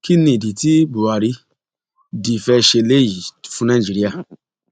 kín ní ìdí tí buhari di fẹẹ ṣe eléyìí fún nàìjíra